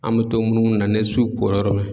An bɛ to munumunu na ni su kora yɔrɔ min na.